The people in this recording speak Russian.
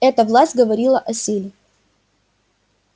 эта власть говорила о силе